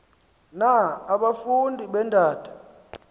na abafundi beendata